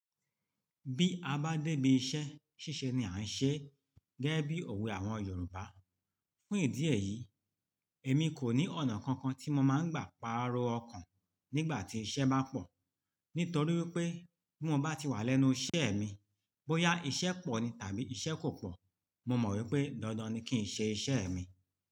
Bí a bá dé ibi iṣẹ́, ṣíṣe ni à ń ṣe gẹ́gẹ́ bí òwe àwọn Yorùbá. Fún ìdí eyìí, èmi kò ní ọ̀nà kankan tí mo máa ń gbà paro ọkàn nígbà tí iṣẹ́ bá pọ̀. Nítorí pé bí mo bá ti wà lẹ́nu iṣẹ́ mi, bóyá iṣẹ́ pọ̀ ni tàbí iṣẹ́ kò pọ̀, mo mọ̀ wípé dandan ni kí n ṣe iṣẹ́ mi.